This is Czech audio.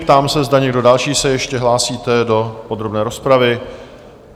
Ptám se, zda někdo další se ještě hlásíte do podrobné rozpravy?